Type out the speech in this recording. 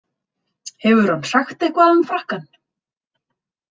Hefur hann sagt eitthvað um Frakkann?